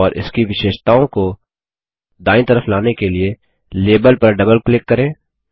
और इसकी विशेषताओं को दायीं तरफ लाने के लिए लाबेल पर डबल क्लिक करें